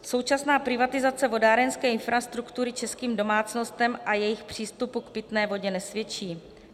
Současná privatizace vodárenské infrastruktury českým domácnostem a jejich přístupu k pitné vodě nesvědčí.